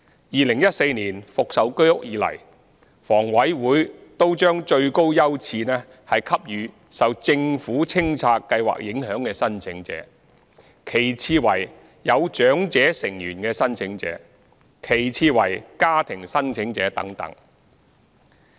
2014年復售居屋以來，房委會均將最高優次給予受政府清拆計劃影響的申請者，其次為有長者成員的申請者，其次為家庭申請者等。